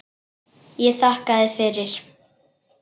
Ég þakkaði fyrir.